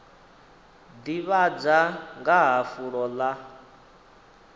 ḓivhadza nga ha fulo ḽa